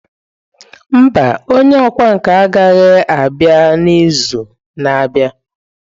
Mba, onye ọkwá nkà anaghị abịa n'izu na-abịa.